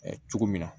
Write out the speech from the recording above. cogo min na